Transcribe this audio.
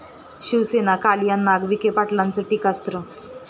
शिवसेना कालिया नाग, विखे पाटलांचं टीकास्त्र